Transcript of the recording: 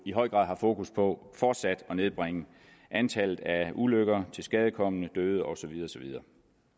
i høj grad har fokus på fortsat at nedbringe antallet af ulykker tilskadekomne døde og så videre